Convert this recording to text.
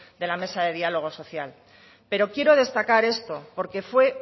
de la mesa de diálogo social pero quiero destacar esto porque fue